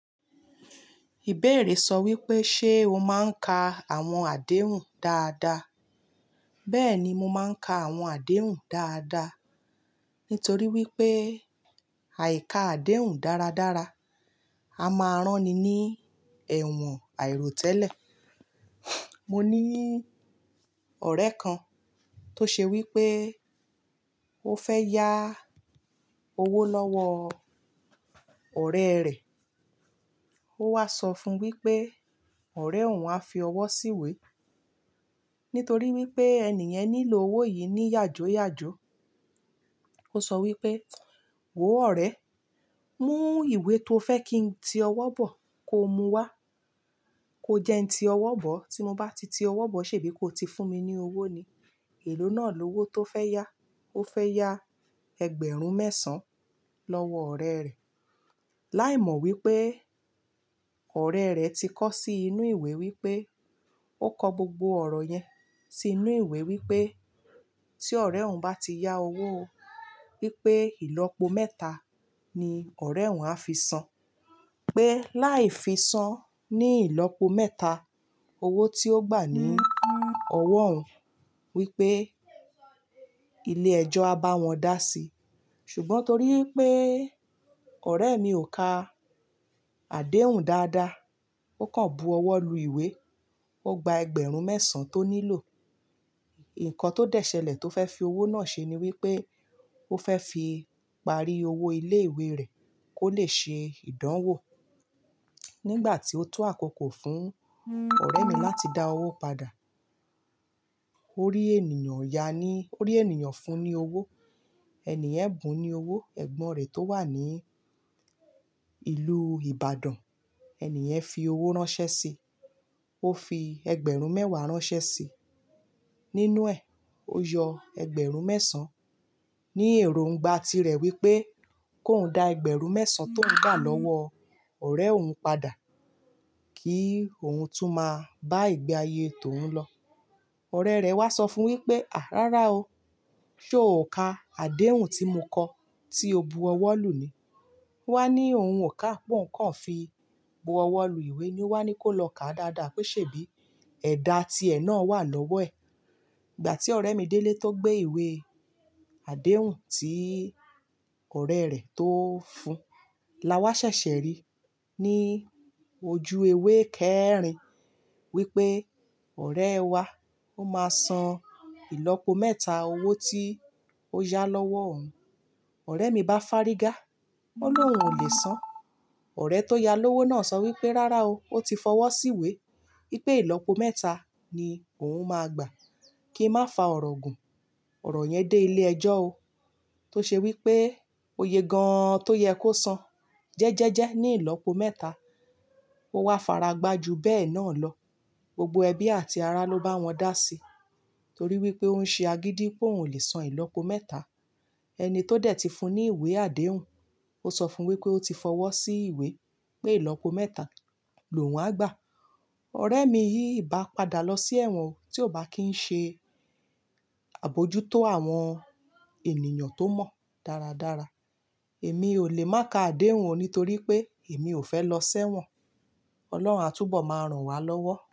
Ìbéèrè sọ wípé ṣe o máa ń ka àwọn àdéhùn dáadáa. Bẹ́ẹ̀ni mo máa ń ka àwọn àdéhùn dáadáa. Nítorí wípé àyí ká àdéhùn dáradára, a máa rán ni ní ẹ̀wọ̀n àìròtẹ́lẹ̀. Mo ní ọ̀rẹ́ kan tó ṣe wípé ó fẹ́ yá owó lọ́wọ́ ọ̀rẹ́ rẹ̀. Ó wá sọ fún un wípé ọ̀rẹ́ òun á fi ọwọ́ síwé. Nítorí wípé ènì yen nílò owó yìí ní yàjóyàjó. Ó sọ wípé wò ó ọ̀rẹ́, mú ìwé tó fẹ́ kí n ti ọwọ́ bọ̀ kó mú wá. Ko jẹ́ n ti ọwọ́ bọ̀. Tí mo bá ti ti ọwọ́ bọ̀ ṣèbí kò ti fún mi ní owó ni. Èló náà lówó tó fẹ́ yá. Ó fẹ́ yá ẹgbẹ̀rún mẹ́sàn-án lọ́wọ́ ọ̀rẹ́ rẹ̀. Láìmọ̀ wípé ọ̀rẹ́ rẹ̀ ti kọ sí inú ìwé wípé ó kọ gbogbo ọ̀rọ̀ yẹn sí inú ìwé wípé tí ọ̀rẹ́ òun bá ti yá owó wípé ìlọ́po mẹ́ta ni ọ̀rẹ́ òun á fi san. Pé láì fi san ní ìlọ́po mẹ́ta, owó tí ó gbà ní ọwọ́ òun wípé ilé ẹjọ́ á bá wọn dá sí. Ṣùgbọ́n torí pé ọ̀rẹ́ mi ò ka àdéhùn dáadáa, ó kàn bu ọwọ́ lu ìwé. Ó gba ẹgbẹ̀rún mẹ́sàn-án tó nílò. Ìkàn tó dẹṣẹlẹ̀ tó fẹ́ fi owó náà ṣe ni wípé ó fẹ́ fi parí owó ilé ìwé rẹ̀ kó lè ṣe ìdánwò. Nígbà tí ó tó àkókò fún ọ̀rẹ́ mi láti dá owó padà. Orí ènìyàn ya ni, orí ènìyàn fún ní owó. Ẹni yen bùn ní owó. Ẹ̀gbọ́n rẹ̀ tó wà ní ìlú Ìbàdàn, ènì yen fi owó ránṣẹ́ sí i. Ó fi ẹgbẹ̀rún mẹ́wàá ránṣẹ́ sí i. Nínú ẹ̀, ó yọ ẹgbẹ̀rún mẹ́sàn-án. Ni èrò ń gba ti rẹ̀ wípé kó un dá ẹgbẹ̀rún mẹ́sàn-án tó ń gbà lọ́wọ́ ọ̀rẹ́ òun padà kí òun tún máa bá ìgbé ayé tó uń lọ. Ọ̀rẹ́ rẹ̀ wá sọ fún wípé àá rárá o, ṣe o ò ka àdéhùn tí mo kọ tí o bu ọwọ́ lù ni? Ó wá ní òun ò ka pé òun kàn fi bu ọwọ́ lu ìwé ni. Ó wá ní kó lọ ká dáadáa pé ṣèbí ẹ̀dà ti ẹ̀ náà wà lọ́wọ́ ẹ̀. Ìgbà tí ọ̀rẹ́ mi délé tó gbé ìwé àdéhùn tí ọ̀rẹ́ rẹ̀ tó fún, la wá ṣẹ̀ṣẹ̀ rí ní ojú ewé kẹ́rin wípé ọ̀rẹ́ wá ó máa san ìlọ́po mẹ́ta owó tí ó yá lọ́wọ́ òun. Ọ̀rẹ́ mi bá fárígá. Ò lóhun ò lè san. Ọ̀rẹ́ tó ya lówó náà sọ wípé rárá o, ó ti fọwọ́ síwé wípé ìlọ́po mẹ́ta ni òun máa gbà. Kí n má fa ọ̀rọ̀ gùn. Ọ̀rọ̀ yẹn dé ilé ẹjọ́ ó. Tó ṣe wípé ó ye gan an tó yẹ kó san. Jẹ́jẹ́jẹ́ ní ìlọ́po mẹ́ta. Ó wá faragbá ju bẹ́ẹ̀ náà lọ. Gbogbo ẹbí àti ará ló bá wọn dá sí. Torí wípé òun ṣe agídí pé òun ò lè san ìlọ́po mẹ́ta. Ẹni tó dẹ̀ ti fún un ní ìwé àdéhùn, ó sọ fún un wípé ó ti fọwọ́ sí ìwé pé ìlọ́po mẹ́ta lòun á gba. Ọ̀rẹ́ mi yìí ìbá padà lọ sí ẹ̀wọ̀n tí ó bá kí n ṣe àbojútó àwọn ènìyàn tó mọ̀ dáradára. Èmi ò lè má ka àdéhùn o nítorí pé èmi ò fẹ́ lọ ṣẹ́wọ̀n. Ọlọ́run á túbọ̀ máa ràn wá lọ́wọ́